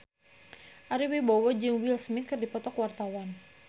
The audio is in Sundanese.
Ari Wibowo jeung Will Smith keur dipoto ku wartawan